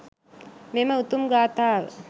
මෙම උතුම් ගාථාව